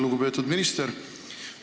Lugupeetud minister!